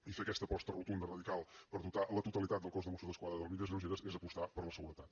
i fer aquesta aposta rotunda radical per dotar la totalitat del cos de mossos d’esquadra d’armilles lleugeres és apostar per la seguretat